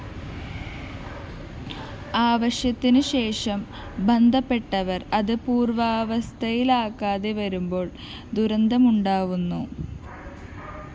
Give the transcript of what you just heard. ആവശ്യത്തിനുശേഷം ബന്ധപ്പെട്ടവര്‍ അത് പൂര്‍വ്വാവസ്ഥയിലാക്കാതെ വരുമ്പോള്‍ ദുരന്തമുണ്ടാവുന്നു